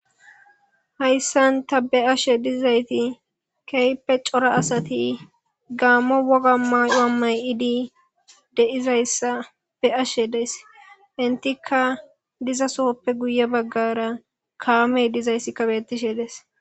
Haysan ta be'ashe dizayti kehippe cora asati gamo woga mayuwa mayidi de'izaysa be'ashe days entika dizasoppe guye bagara kamey dizaysika betishe dees.